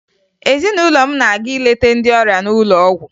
Ezinụlọ m na-aga ileta ndị ọrịa n'ụlọ ọgwụ